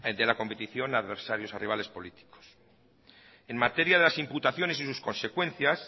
de la competición a adversarios a rivales políticos en materia de las imputaciones y sus consecuencias